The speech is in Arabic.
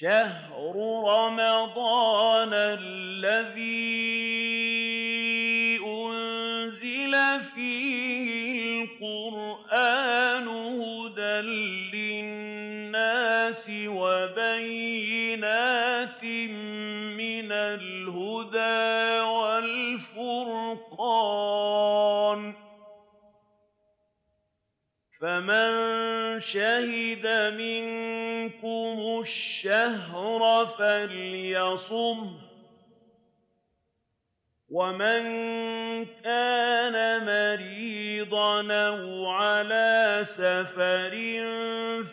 شَهْرُ رَمَضَانَ الَّذِي أُنزِلَ فِيهِ الْقُرْآنُ هُدًى لِّلنَّاسِ وَبَيِّنَاتٍ مِّنَ الْهُدَىٰ وَالْفُرْقَانِ ۚ فَمَن شَهِدَ مِنكُمُ الشَّهْرَ فَلْيَصُمْهُ ۖ وَمَن كَانَ مَرِيضًا أَوْ عَلَىٰ سَفَرٍ